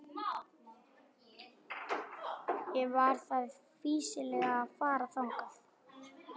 Ekki var því fýsilegt að fara þangað.